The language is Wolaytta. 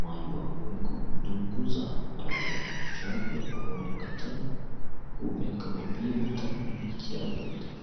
maayuwaa woikko dungguzaa malatiya sharibiyaa ba qooriyan qachchada huuphiyanka koppiya wottara miicciyaara beettoos